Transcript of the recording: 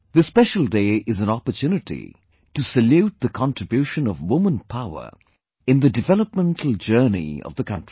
This special day is an opportunity to salute the contribution of woman power in the developmental journey of the country